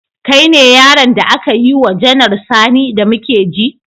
Kai ne yaron da aka yi wa Janar Sani da muke ji?